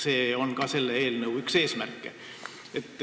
See on ka selle eelnõu üks eesmärke.